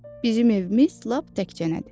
Bizim evimiz lap təkcənədir.